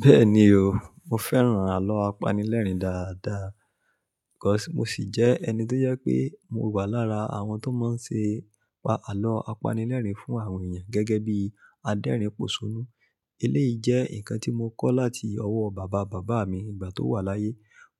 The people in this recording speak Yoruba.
Bẹ́ẹ̀ni o, mo fẹ́ràn àlọ́ apanilẹ́rìn dáadáa. Kos mo sì jẹ́ ẹni tó yẹ pé mo wà lára àwọn tó máa ń ṣe àlọ́ apanilẹ́rìn fún àwọn èèyàn gẹ́gẹ́ bí adérìn pòṣónú. Eléyìí jẹ́ nǹkan tí mo kọ́ láti ọwọ́ bàbá bàbá mi nígbà tó wà láyé.